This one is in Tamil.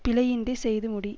பிழையின்றிச் செய்து முடி